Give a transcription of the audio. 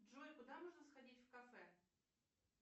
джой куда можно сходить в кафе